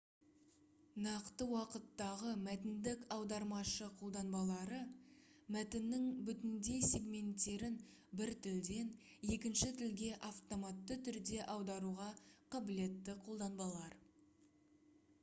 нақты уақыттағы мәтіндік аудармашы қолданбалары мәтіннің бүтіндей сегменттерін бір тілден екінші тілге автоматты түрде аударуға қабілетті қолданбалар